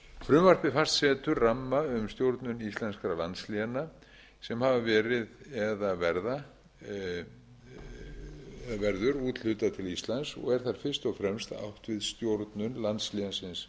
frumvarpið fastsetur ramma um stjórnun íslenskra landsléna sem hafa verið eða verður úthlutað til íslands og er þar fyrst átt við stjórnun landslénsins punktur is